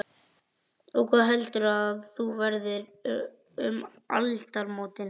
Og hvar heldurðu að þú verðir um aldamótin?